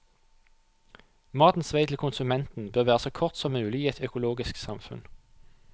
Matens vei til konsumenten bør være så kort som mulig i et økologisk samfunn.